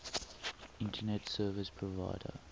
internet service provider